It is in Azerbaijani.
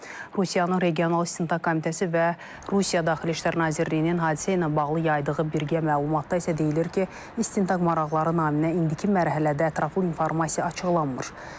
Rusiyanın Regional İstintaq Komitəsi və Rusiya Daxili İşlər Nazirliyinin hadisə ilə bağlı yaydığı birgə məlumatda isə deyilir ki, istintaq maraqları naminə indiki mərhələdə ətraflı informasiya açıqlanmır.